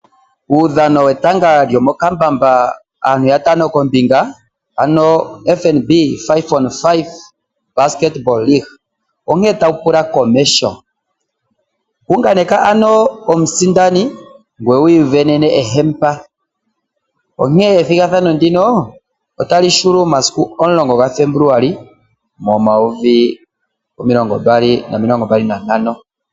Uudhano wetanga lyomokambamba aantu yatano kombinga, ano FNB 5-on-5 Basketball Leaque, onkene tawu pula komeho. Tengeneka omusindani ngoye wi isindanene embamba lyomagano. Ethigathano ndika otali hulu momasiku 10 Febuluali 2025.